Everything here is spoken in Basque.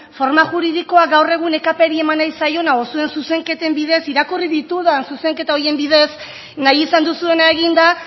forma juridikoa gaur egun ekp ri eman nahi zaiona edo zuen zuzenketen bidez irakurri ditudan zuzenketa horien bidez nahi izan duzuena egin da